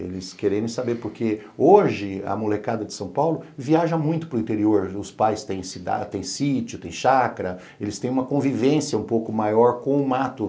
Eles queriam saber, porque hoje a molecada de São Paulo viaja muito para o interior, os pais têm sítio, têm chacra, eles têm uma convivência um pouco maior com o mato.